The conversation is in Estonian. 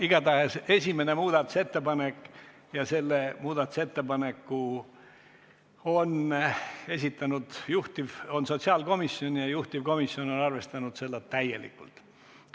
Igatahes, esimene muudatusettepanek – selle muudatusettepaneku on esitanud sotsiaalkomisjon ja juhtivkomisjon on seda täielikult arvestanud.